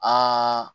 Aa